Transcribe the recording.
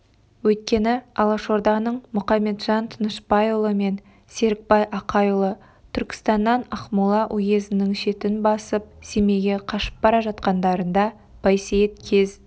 өйткені алашорданың мұқаметжан тынышпайұлы мен серікбай ақайұлы түркістаннан ақмола уезінің шетін басып семейге қашып бара жатқандарында байсейіт кез